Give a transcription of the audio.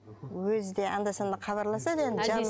өзі де анда санда хабарласады енді